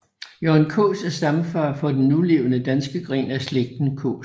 Jørgen Kaas er stamfar for den nulevende danske gren af slægten Kaas